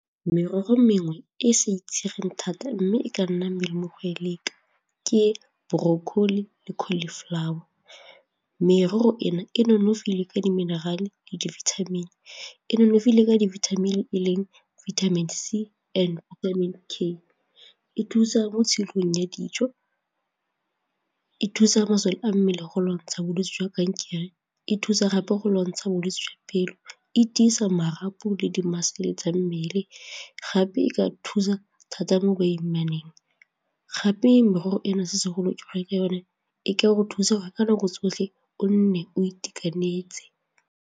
Merogo e mengwe e e sa itsegeng thata mme e ka nna melemo go e leka ke brocolli le cauliflower, merogo ena e nonofile ka di-mineral-e le di-vitamin-e. E nonofile ka dibithamini e leng vitamin C and vitamin K, e thusa mo tshilong ya dijo e thusa masole a mmele go lwantsha bolwetse jwa kankere, e thusa gape go lwantsha bolwetse jwa pelo, e tiisa marapo le mmele gape e ka thusa thata mo basimanyaneng gape merogo ena se segolo ke re ke yone e ka go thusa gore ka nako tsotlhe o nne o itekanetse.